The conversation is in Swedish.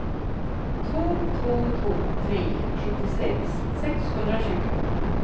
två två två tre sjuttiosex sexhundratjugo